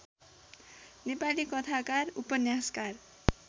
नेपाली कथाकार उपन्यासकार